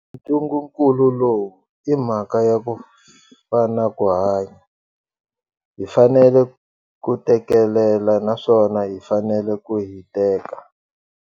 Ntungukulu lowu I mhaka ya ku fa na ku hanya. Hi fanele ku tekelela naswona hi fanele ku hiteka.